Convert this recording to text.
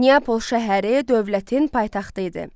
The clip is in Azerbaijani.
Niapol şəhəri dövlətin paytaxtı idi.